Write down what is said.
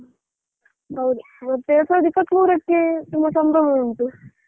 ಹೌದು ಹೌದು ಮತ್ತೆ ಎರಡು ಸಾವಿರದ ಇಪ್ಪತ್ತು ಮೂರಕ್ಕೆ ತುಂಬಾ ಸಂಭ್ರಮ ಉಂಟು.